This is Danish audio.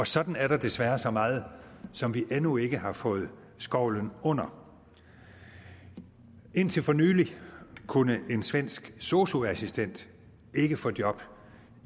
sådan er der desværre så meget som vi endnu ikke har fået skovlen under indtil for nylig kunne en svensk sosu assistent ikke få job